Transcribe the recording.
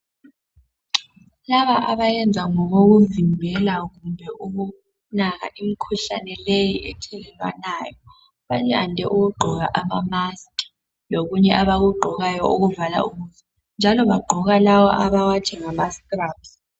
Laba abayenza ngokokuvimbela kumbe ukunaka imikhuhlane leyi ethelelwanayo bayande ukugqoka ama "musk" lokunye abakugqokayo okuvala ubuso njalo bagqoka lawa abawathi ngama "strubs".